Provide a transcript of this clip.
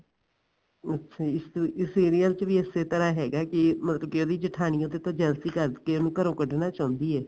ਅੱਛਾ ਇਸ serial ਚ ਵੀ ਇਸੇ ਤਰ੍ਹਾਂ ਹੈਗਾ ਕਿ ਮਤਲਬ ਕਿ ਉਹਦੀ ਜਠਾਣੀ ਉਹਦੇ ਤੋਂ jealousy ਕਰ ਕੇ ਉਹਨੂੰ ਘਰੋ ਕੱਢਨਾ ਚਾਉਂਦੀ ਐ